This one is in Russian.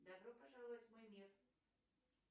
добро пожаловать в мой мир